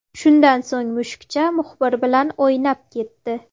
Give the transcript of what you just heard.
Shundan so‘ng, mushukcha muxbir bilan o‘ynab ketdi.